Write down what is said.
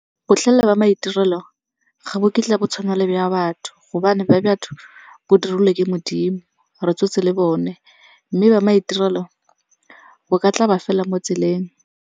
Botlhale ba maitirelo ga bo kitla bo tshwana le ba batho gobane ba batho bo dirilwe ke Modimo, re tswetse le bone. Mme ba maitirelo bo ka tla ba fela mo tseleng.